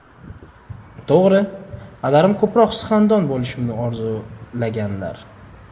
To‘g‘ri, padarim ko‘proq suxandon bo‘lishimni orzulaganlar.